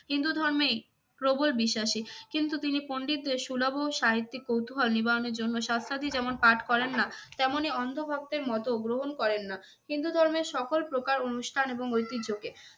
হিন্দু ধর্মে প্রবল বিশ্বাসী কিন্তু তিনি পন্ডিতদের সুলভ ও সাহিত্যিক কৌতুহল নিবারণের জন্য শাস্ত্রাদি যেমন পাঠ করেন না, তেমনি অন্ধ ভক্তের মতো গ্রহণ করেন না হিন্দু ধর্মের সকল প্রকার অনুষ্ঠান এবং ঐতিহ্যকে।